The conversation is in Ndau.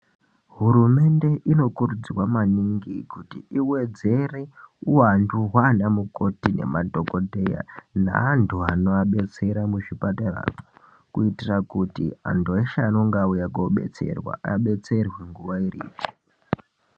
Hurumende inokurudzirwa maningi kuti iwedzere uhwandu hwaana mukoti nemadhokodheya neantu anoabetsera muzvipatara kuitira kuti antu acho anenge auya koodetserwa , adetserwe nguwa iripo